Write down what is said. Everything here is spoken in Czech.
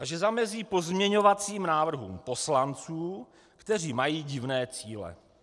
A že zamezí pozměňovacím návrhům poslanců, kteří mají divné cíle.